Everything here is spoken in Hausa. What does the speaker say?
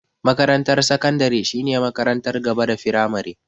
Makarantar sakandare shine makarantar gaba da firamare.